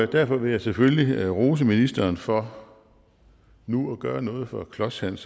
derfor vil jeg selvfølgelig rose ministeren for nu at gøre noget for klods hans